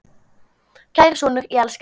Kæri sonur, ég elska þig.